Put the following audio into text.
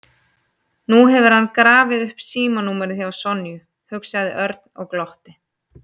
Nú hefur hann grafið upp símanúmerið hjá Sonju, hugsaði Örn og glotti.